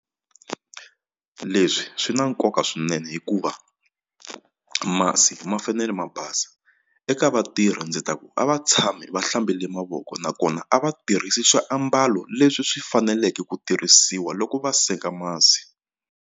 Leswi swi na nkoka swinene hikuva masi ma fanele ma basa eka vatirhi ndzi ta ku a va tshami va hlambile mavoko nakona a va tirhisi swiambalo leswi swi faneleke ku tirhisiwa loko va senga masi.